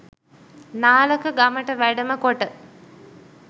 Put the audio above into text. නාලක ගමට වැඩම කොට